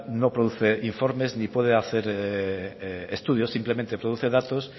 no produce informes ni puede hacer estudios simplemente produce datos